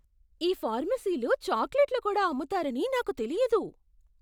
ఈ ఫార్మసీలో చాక్లెట్లు కూడా అమ్ముతారని నాకు తెలియదు!